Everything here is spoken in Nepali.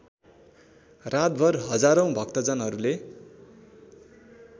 रातभर हजारौँ भक्तजनहरूले